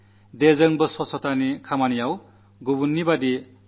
ശുചിത്വം¯ സംബന്ധിച്ച് മത്സരാന്തരീക്ഷം രൂപപ്പെടുകയാണ്